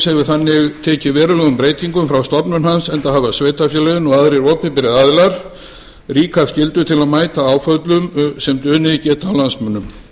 hefur þannig tekið verulegum breytingum frá stofnun hans enda hafa sveitarfélögin og aðrir opinberir aðilar ríka skyldi til að mæta áföllum sem dunið gætu á landsmönnum